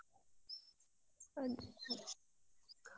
ಹ್ಮ್